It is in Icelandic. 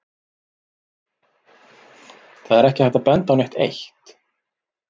Það er ekki hægt að benda á neitt eitt.